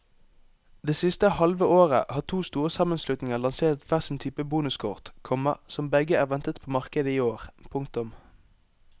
Det siste halve året har to store sammenslutninger lansert hver sin type bonuskort, komma som begge er ventet på markedet i år. punktum